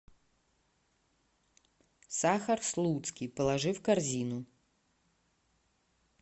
сахар слуцкий положи в корзину